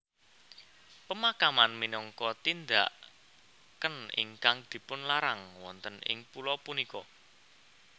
Pemakaman minangka tindaken ingkang dipunlarang wonten ing pulo punika